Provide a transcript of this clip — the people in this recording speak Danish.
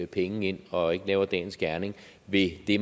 penge ind og ikke laver dagens gerning ved det